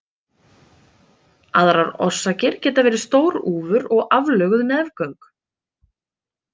Aðrar orsakir geta verið stór úfur og aflöguð nefgöng.